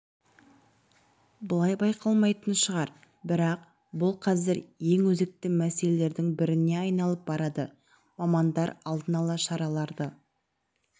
былай байқалмайтын шығар бірақ бұл қазір ең өзекті мәселелердің біріне айналып барады мамандар алдын ала шараларды